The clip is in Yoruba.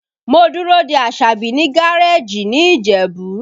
Mo dúró de Asabi ní gareeji ní Ìjẹ̀bú